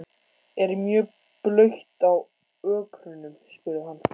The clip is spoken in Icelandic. Er mjög blautt á ökrunum? spurði hann.